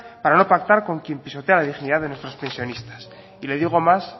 para no pactar con quien pisotea la dignidad de nuestros pensionistas y le digo más